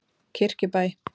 Kirkjubæ